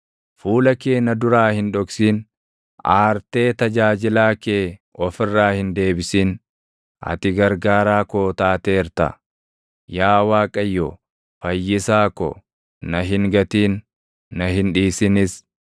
Fuula kee na duraa hin dhoksin; aartee tajaajilaa kee of irraa hin deebisin; ati gargaaraa koo taateerta. Yaa Waaqayyo, Fayyisaa ko, na hin gatin; na hin dhiisinis.